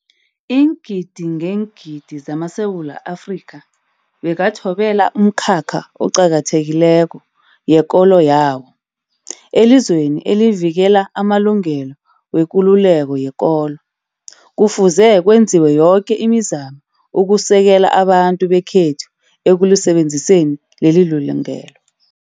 Iingidi ngeengidi zamaSewula Afrika bekathobela umkhakha oqakathekileko yekolo yawo. Elizweni elivikela amalungelo wekululeko yekolo, kufuze kwenziwe yoke imizamo ukusekela abantu bekhethu ekulisebenziseni lelilungelo.